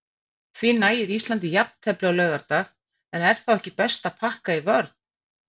Því nægir Íslandi jafntefli á laugardag, en er þá ekki best að pakka í vörn?